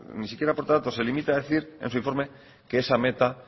aporta datos se limita a decir en su informe que esa meta